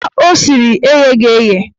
Akwa o siri egheghi eghe